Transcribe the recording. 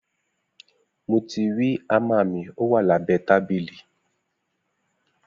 Mo tírì àmá mi, òwá làbẹ tàbílì.